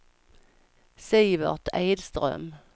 Sivert Edström